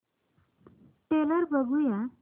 trailer बघूया